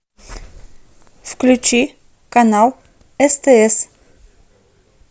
включи канал стс